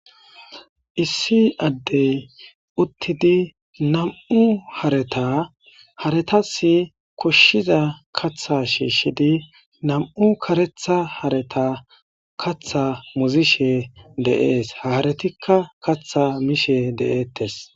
issi addey uttidi namu hareta haretasi koshshiza katha shiishshidi nam7u karetha hareta katha muzishe deees haaretikka katha miishe de7eettes